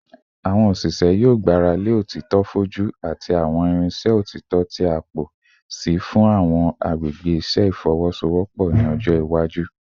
Awọn oṣiṣẹ yoo gbarale otito foju ati awọn irinṣẹ otito ti a pọ si fun awọn agbegbe iṣẹ ifowosowopo ni ọjọ iwaju